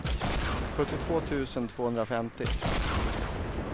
sjuttiotvå tusen tvåhundrafemtio